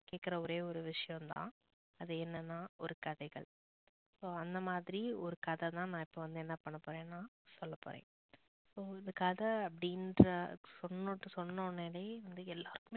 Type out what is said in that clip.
கேட்குற ஒரே ஒரு விஷயம் தான் அது என்னனா ஒரு கதைகள் ஆஹ் அந்த மாறி ஒரு கதை தான் நான் இப்போ வந்து என்னா பண்ண போறன்னா சொல்லபோரன் உங்களுக்கு கதை அப்டினுர சொன்ன உடனே வந்து எல்லாருக்குமே